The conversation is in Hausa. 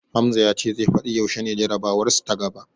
Hamza ya ce zai fadi yaushe ne jarabawarsu ta gaba.